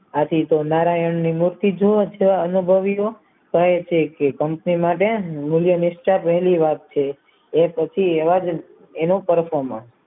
નારાયણની મૂર્તિ જુઓછો અનુભવીઓ કહે છે કે કંપનીમાં એ પછી એવા એનો perfume